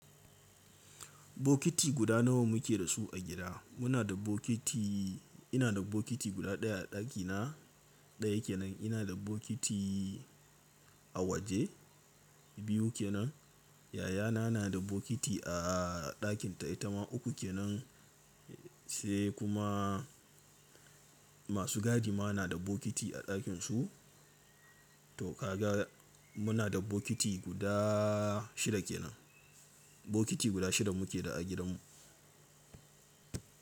Bokiti guda nawa muke da su a gida? Muna da bokiti, ina da bokiti guda ɗaya a ɗakina, ɗaya kenan. Ina da bokiti a waje, biyu kenan. Yayana na da bokiti a ɗakinta, ita ma uku kenan, sai kuma masu gadima na da bokiti a ɗakinsu. To kaga muna da bokiti guda shida kenan. Bokiti guda shida muke da a gidanmu.